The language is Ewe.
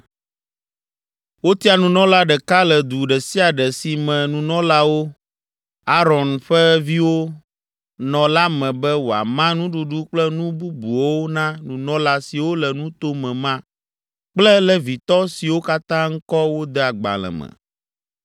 Wotia nunɔla ɖeka le du ɖe sia ɖe si me nunɔlawo, Aron ƒe viwo, nɔ la me be wòama nuɖuɖu kple nu bubuwo na nunɔla siwo le nuto me ma kple Levitɔ siwo katã ŋkɔ wode agbalẽ me.